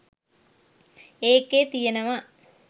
ඒකෙ තියනව